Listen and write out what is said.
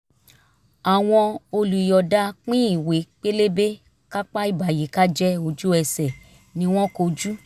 àwọn olùyọ̀ọ̀da pín ìwé pélébé kápá ìbàyíkájẹ́ ojú ẹsẹ̀ ni wọ́n kó jù